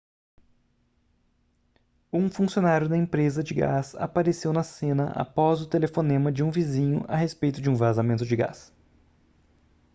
um funcionário da empresa de gás apareceu na cena após o telefonema de um vizinho a respeito de um vazamento de gás